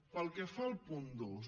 pel que fa al punt dos